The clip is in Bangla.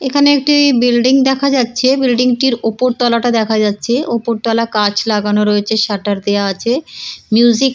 এখানে একটি বিল্ডিং দেখা যাচ্ছে। বিল্ডিং টির ওপরতলা টা দেখা যাচ্ছে। ওপরতলা কাঁচ লাগানো রয়েছে শাটার দেওয়া আছে। মিউজিক --